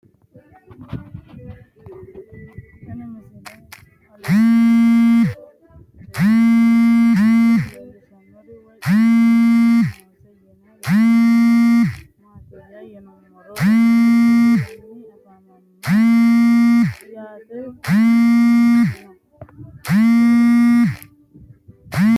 Tenni misile aleenni leelittanni nootti maa leelishshanno woy xawisannori may noosse yinne la'neemmori maattiya yinummoro odoo sayiisanni afammanno yatte kunni manchinno